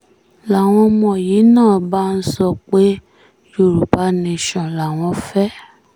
làwọn ọmọ yìí náà bá ń sọ pé yorùbá nation làwọn fẹ́